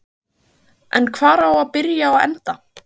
En hvar á að byrja og enda?